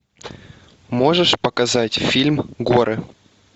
можешь показать фильм горы